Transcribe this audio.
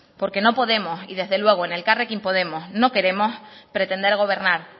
porque no podemos y desde luego en elkarrekin podemos no queremos pretender gobernar